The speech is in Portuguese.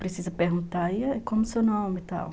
Precisa perguntar aí como o seu nome, tal.